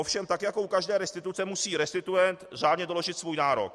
Ovšem tak jako u každé restituce musí restituent řádně doložit svůj nárok.